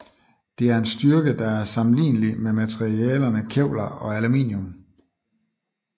Det er en styrke der er sammenlignelig med materialerne kevlar og aluminium